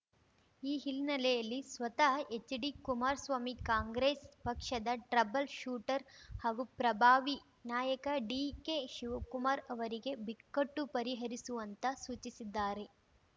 ಈ ಹಿನ್ನೆಲೆಯಲ್ಲಿ ಸ್ವತಃ ಹೆಚ್ಡಿ ಕುಮಾರ್ ಸ್ವಾಮಿ ಕಾಂಗ್ರೆಸ್ ಪಕ್ಷದ ಟ್ರಬಲ್ ಶೂಟರ್ ಹಾಗೂ ಪ್ರಭಾವಿ ನಾಯಕ ಡಿಕೆ ಶಿವಕುಮಾರ್ ಅವರಿಗೆ ಬಿಕ್ಕಟ್ಟು ಪರಿಹರಿಸುವಂತ ಸೂಚಿಸಿದ್ದಾರೆ